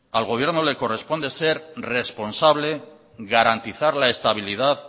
al gobierno no le corresponde ser responsable garantizar la estabilidad